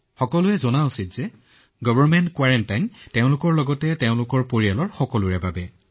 সকলোৱে জানিব লাগে যে চৰকাৰী কোৱাৰেণ্টাইন তেওঁৰ বাবে তেওঁৰ পৰিয়ালৰ বাবে